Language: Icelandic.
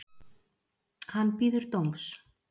Hann bíður dóms